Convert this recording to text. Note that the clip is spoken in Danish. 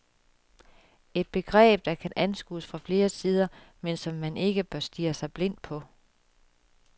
Et begreb, der kan anskues fra flere sider, men som man ikke bør stirre sig blindt på.